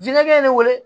ye ne wele